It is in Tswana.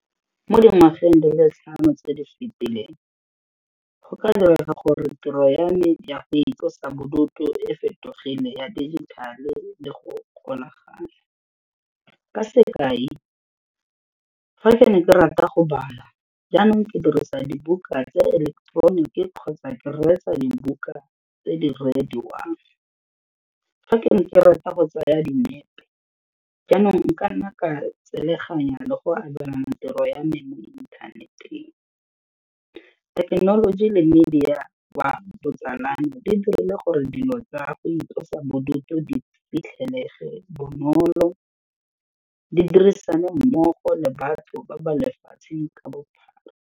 Mo dingwageng di le tlhano tse di fitileng, go ka direga gore tiro ya me ya go itlosa bodutu e fetogele ya digital-e le go kgonagala, ka sekai, fa ke ne ke rata go bala jaanong ke dirisa dibuka tse eleketeroniki kgotsa ke reetsa dibuka tse di reediwang. Fa ke ne ke rata go tsaya dinepe jaanong nka nna ka tseleganya le go abelana tiro ya me mo inthaneteng, thekenoloji le media wa botsalano di dirile gore dilo tsa go itlosa bodutu di fitlhelege bonolo di dirisane mmogo le batho ba ba lefatsheng ka bophara.